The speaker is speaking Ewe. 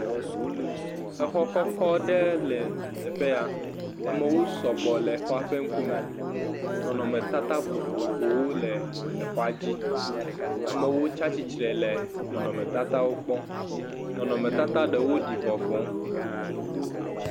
Exɔ kɔkɔ aɖe le teƒe ya, amewo sɔgbɔ le exɔa ƒe ŋkume, nɔnɔmetata vovovowo le exɔa dzi, a,e wo tsi atsitre le nɔnɔmetatawo kpɔm , nɔnɔmetata ɖewo ɖi vɔvɔ.